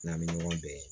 N'an bɛ ɲɔgɔn bɛn